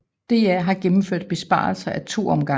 DR har gennemført besparelser ad to omgange